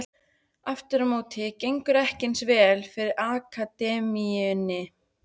Aftur á móti gengur ekki eins vel fyrir akademíunni.